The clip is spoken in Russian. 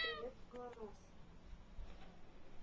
привет гланос